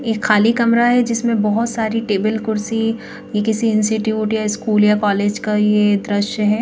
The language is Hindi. यह खाली कमरा है जिसमें बहोत सारी टेबल कुर्सी यह किसी इंस्टिट्यूट या स्कूल या कॉलेज का यह दृश्य है।